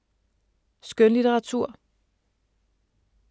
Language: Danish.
Skønlitteratur